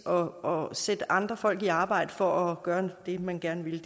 og at sætte andre folk i arbejde for at gøre det man gerne vil